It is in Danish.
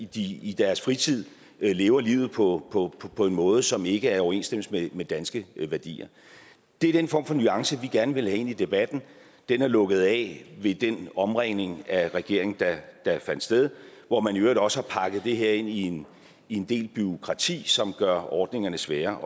de i deres fritid lever livet på på en måde som ikke er i overensstemmelse med danske værdier det er den form for nuance vi gerne vil have ind i debatten den er lukket af ved den omringning af regeringen der fandt sted hvor man i øvrigt også har pakket det her ind i en del bureaukrati som gør ordningerne svære